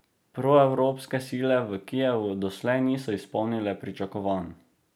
Proevropske sile v Kijevu doslej niso izpolnile pričakovanj.